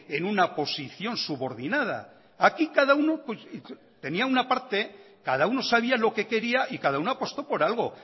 en una posición subordinada aquí cada uno tenía una parte cada uno sabía lo que quería y cada uno apostó por algo